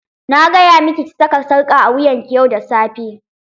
Na gaya miki ki saka sarƙa a wuyan ki yau da safe.